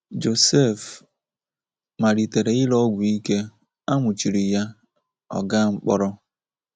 Joseph malitere ire ọgwụ ike, a nwụchiri ya,ọ gaa mkpọrọ.